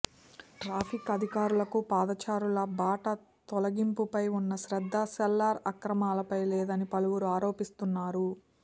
traffic అధికారులకు పాదచారుల బాట తొలగింపుపై ఉన్న శ్రద్ధ సెల్లార్ అక్రమాలపై లేదని పలువురు ఆరోపిస్తున్నారు